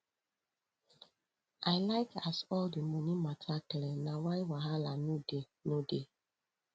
i like as all di moni mata clear na why wahala no dey no dey